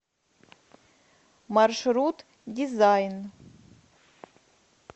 маршрут дизайн